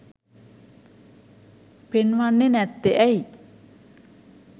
පෙන්වන්නේ නැත්තේ ඇයි?